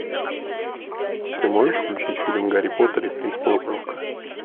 ты можешь включить фильм гарри поттер и принц полукровка